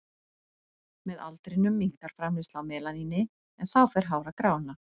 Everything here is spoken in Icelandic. Með aldrinum minnkar framleiðsla á melaníni en þá fer hár að grána.